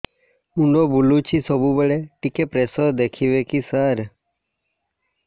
ମୁଣ୍ଡ ବୁଲୁଚି ସବୁବେଳେ ଟିକେ ପ୍ରେସର ଦେଖିବେ କି ସାର